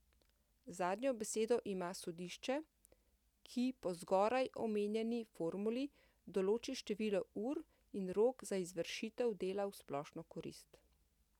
Zadnjo besedo ima sodišče, ki po zgoraj omenjeni formuli določi število ur in rok za izvršitev dela v splošno korist.